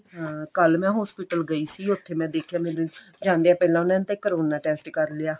ਹਾਂ ਕੱਲ ਮੈਂ hospital ਗਈ ਸੀ ਉੱਥੇ ਮੈਂ ਦੇਖਿਆ ਮੇਰੀ ਜਾਂਦੀਆਂ ਪਹਿਲਾਂ ਉਹਨਾ ਨੇ ਤਾਂ ਕਰੋਨਾ test ਕਰ ਲਿਆ